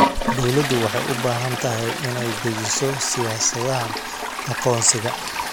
Dawladdu waxay u baahan tahay inay dejiso siyaasadaha aqoonsiga.